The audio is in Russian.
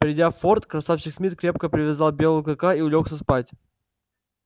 придя в форт красавчик смит крепко привязал белого клыка и улёгся спать